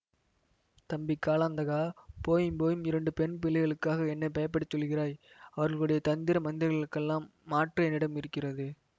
தம்பி காலாந்தகா போயும் போயும் இரண்டு பெண் பிள்ளைகளுக்கா என்னை பயப்படச் சொல்கிறாய் அவர்களுடைய தந்திர மந்திரங்களுக்கெல்லாம் மாற்று என்னிடம் இருக்கிறது